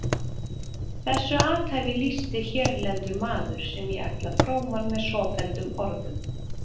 Þessu athæfi lýsti hérlendur maður sem ég ætla fróman með svofelldum orðum